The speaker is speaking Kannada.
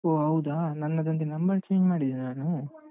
ಓಹ್ ಹೌದಾ? ನನ್ನದಂದ್ರೆ number change ಮಾಡಿದೆ ನಾನು.